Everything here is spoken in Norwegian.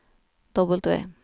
W